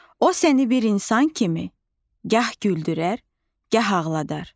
O səni bir insan kimi gah güldürər, gah ağladar.